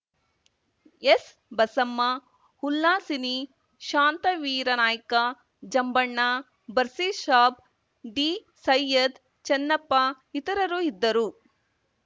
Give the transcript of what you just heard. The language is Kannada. ಎಸ್‌ಬಸಮ್ಮ ಉಲ್ಲಾಸಿನಿ ಶಾಂತವೀರ ನಾಯ್ಕ ಜಂಬಣ್ಣ ಬಸೀರ್‌ ಸಾಬ್‌ ಡಿಸೈಯ್ಯದ್‌ ಚನ್ನಪ್ಪ ಇತರರು ಇದ್ದರು